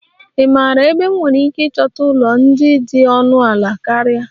Ị maara ebe m nwere ike ịchọta ụlọ ndị dị ọnụ ala karịa?